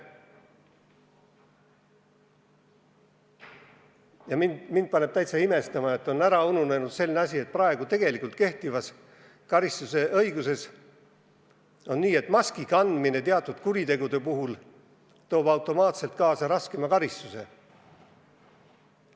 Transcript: Ja mind paneb täitsa imestama, kuidas on ära unustatud selline asi, et kehtivas karistusõiguses on öeldud, et maski kandmine teatud kuritegude puhul toob automaatselt kaasa raskema karistuse.